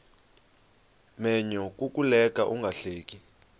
menyo kukuleka ungahleki